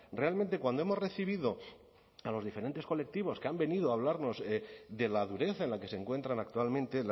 realmente cuando hemos recibido a los diferentes colectivos que han venido a hablarnos de la dureza en la que se encuentran actualmente